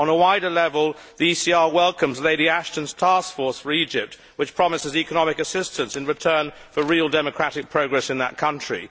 On a wider level, the ECR welcomes Lady Ashton's taskforce for Egypt, which promises economic assistance in return for real democratic progress in that country.